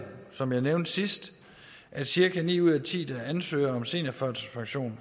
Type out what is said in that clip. som jeg nævnte sidst at cirka ni ud af ti der ansøger om seniorførtidspension